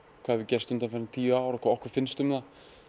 hvað hefur gerst undanfarin tíu ár og hvað okkur finnst um það